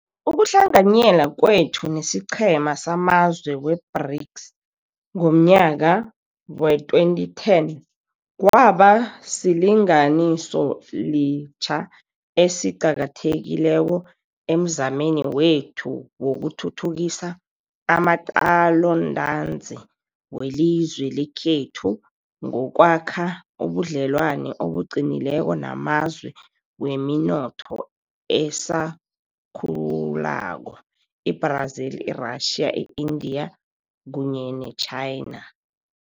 Ukuhlanganyela kwethu nesiqhema samazwe we-BRICS ngomnyaka wee-2010 kwaba silinganisoliqha esi qakathekileko emzameni wethu wokuthuthukisa amaqalontanzi welizwe lekhethu ngokwakha ubudlelwano obuqinileko namazwe weminotho esakhulako, i-Brazil, i-Russia, i-India kunye neChina.